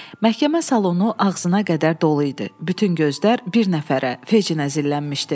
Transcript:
Məhkəmə salonu ağzına qədər dolu idi, bütün gözlər bir nəfərə, Fecciniyə zillənmişdi.